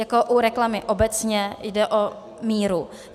Jako u reklamy obecně jde o míru.